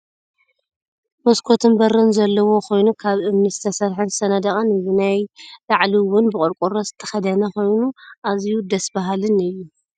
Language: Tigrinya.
መስኮትን በርን ዘለዎ ኮይኑ ካብ እምኒ ዝተሰረሐን ዝተነደቀን እዩ። ናይ ላዕሉ እውን ብቆርቆሮ ዝተከደነ ኮይኑ ኣዝዩ ደስ ብሃልን እዩ ።